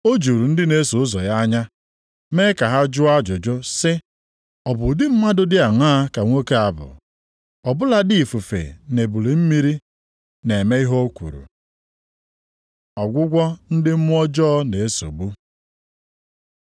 O juru ndị na-eso ụzọ ya anya, mee ka ha jụọ ajụjụ sị, “Ọ bụ ụdị mmadụ dị aṅaa ka nwoke a bụ? Ọ bụladị ifufe na ebili mmiri na-eme ihe o kwuru.” Ọgwụgwọ ndị mmụọ ọjọọ na-esogbu